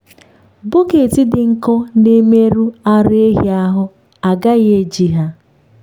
bọket dị nkọ na-emerụ ara ehi ahụ a gaghị eji ha.